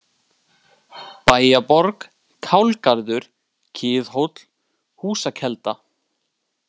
Bæjarborg, Kálgarður, Kiðhóll, Húsakelda